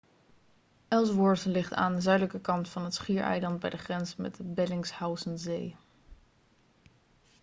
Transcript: ellsworth ligt aan de zuidelijke kant van het schiereiland bij de grens met de bellingshausenzee